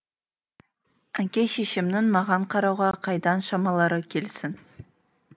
әке шешемнің маған қарауға қайдан шамалары келсін